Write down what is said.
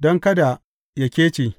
don kada yă kece.